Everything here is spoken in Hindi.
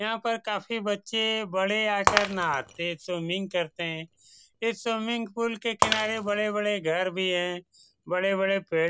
यहाँ पर काफी बच्चे बड़े आकर नहाते है स्विमिंग करते है इस स्विमिंग पूल के किनारे बड़े बड़े घर भी है बड़े बड़े पेड़ --